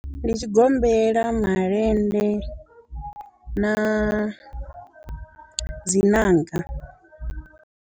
ndi tshigombela, malende na dzi nanga.